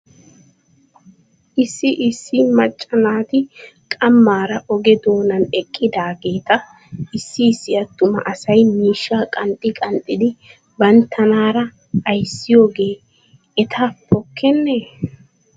Issi issi naacca naati qamaara oge doonan eqqidaageeta issi issi atuma asay miishshaa qanxxi qanxxidi bantanaara ayssiyoogee eta pokkenee ?